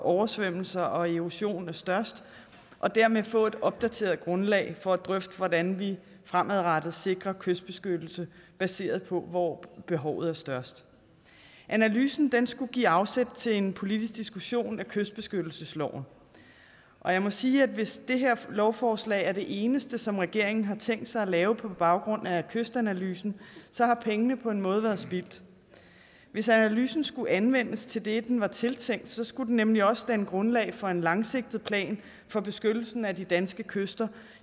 oversvømmelser og erosion er størst og dermed få et opdateret grundlag for at drøfte hvordan vi fremadrettet sikrer kystbeskyttelse baseret på hvor behovet er størst analysen skulle give afsæt til en politisk diskussion af kystbeskyttelsesloven jeg må sige at hvis det her lovforslag er det eneste som regeringen har tænkt sig at lave på baggrund af kystanalysen har pengene på en måde været spildt hvis analysen skulle anvendes til det den var tiltænkt skulle den nemlig også danne grundlag for en langsigtet plan for beskyttelsen af de danske kyster